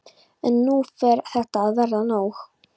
En nú fer þetta að verða nóg.